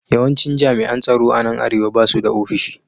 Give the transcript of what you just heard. Yawancin jami’an tsaro a nan Arewa ba su da ofishi